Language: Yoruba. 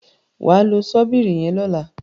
wá ló Ṣọ́bìrì yen lọla.